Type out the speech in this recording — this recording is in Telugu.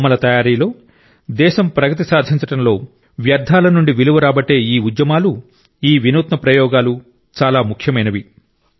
బొమ్మల తయారీలో దేశం ప్రగతి సాధించడంలో వ్యర్థాల నుండి విలువ రాబట్టే ఈ ఉద్యమాలు ఈ వినూత్న ప్రయోగాలు చాలా ముఖ్యమైనవి